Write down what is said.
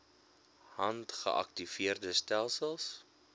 hand geaktiveerde stelsels